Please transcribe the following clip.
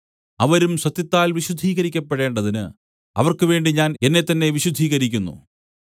അവരും സത്യത്താൽ വിശുദ്ധീകരിക്കപ്പെടേണ്ടതിന് അവർക്ക് വേണ്ടി ഞാൻ എന്നെത്തന്നെ വിശുദ്ധീകരിക്കുന്നു